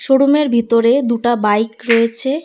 শোরুমের ভিতরে দুটা বাইক রয়েছে।